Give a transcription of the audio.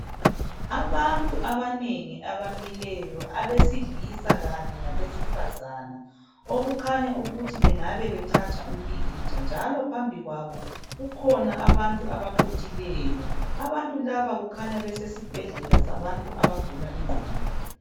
Abantu abanengi abamileyo abesilisa kanye labesifazana okukhanya ukuthi bengabe bethatha umpikitsha njalo phambi kwabo kukhona abantu abaqhuthileyo, abantu laba kukhanya besesibhedlela sabantu abagula ingqondo.